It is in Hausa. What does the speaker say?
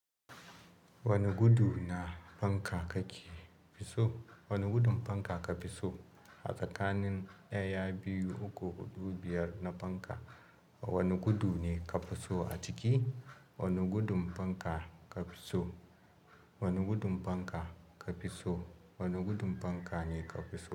Wani gudu na fanka kake fi so? Wani gudun fanka ka fi so? A tsakanin ɗaya, biyu, uku, huɗu, biyar na fanka, wani gudu ne ka fi so a ciki? Wani gudun fanka ka fi so? Wani gudun fanka ka fi so? Wani gudun fanka ne ka fi so.